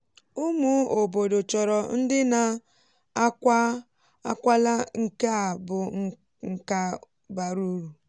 ụmụ obodo chọrọ ndị na-akwa ákwalà nke a bụ nka bara uru.